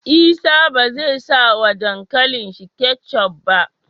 Isa bezai sa wa dankalin shi ketchup ba